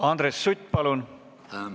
Andres Sutt, palun!